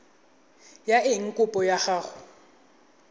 ya eng kopo ya gago